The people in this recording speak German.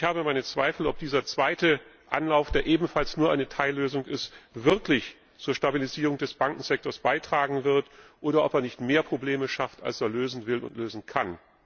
Und ich habe meine Zweifel, ob dieser zweite Anlauf, der ebenfalls nur eine Teillösung ist, wirklich zur Stabilisierung des Bankensektors beitragen wird, oder ob er nicht mehr Probleme schafft, als er lösen will und lösen kann.